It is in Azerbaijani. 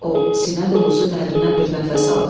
O sinə dolusu dərindən bir nəfəs aldı.